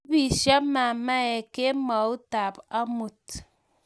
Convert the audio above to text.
kiibisio mamae kemoutab amut